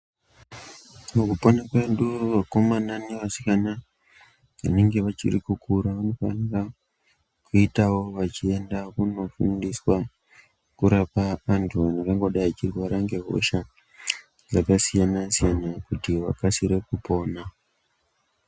Mukupona kwedu vakomana nevasikana vanenge vachiri kukura vanofanira kuitawo vachienda kunofundiswa kurapa antu angangodai achirwara ngehosha dzakasiyana siyana kuti vakasire kupona.